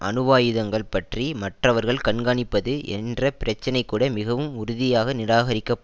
அணுவாயுதங்கள் பற்றி மற்றவர்கள் கண்காணிப்பது என்ற பிரச்சினைகூட மிகவும் உறுதியாக நிராகரிக்கப்ப